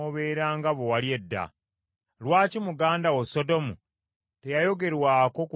Lwaki muganda wo Sodomu teyayogerwako ku lunaku olw’amalala go,